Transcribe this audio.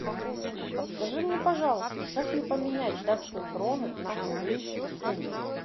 подскажи мне пожалуйста как мне поменять датские кроны на английские фунты